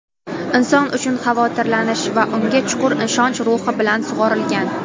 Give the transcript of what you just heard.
inson uchun xavotirlanish va unga chuqur ishonch ruhi bilan sug‘orilgan.